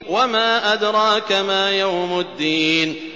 وَمَا أَدْرَاكَ مَا يَوْمُ الدِّينِ